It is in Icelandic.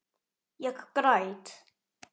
Ég græt.